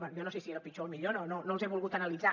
bé jo no sé si era el pitjor o el millor no els he volgut analitzar